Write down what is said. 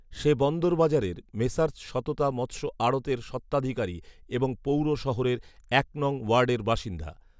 সে বন্দরবাজারের “মেসার্স সততা মৎস্য আড়ৎ”এর স্বত্বাধিকারী এবং পৌর শহরের এক নং ওয়ার্ডের বাসিন্দা